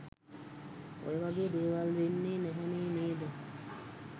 ඔය වගේ දේවල් වෙන්නේ නැහැනේ නේද.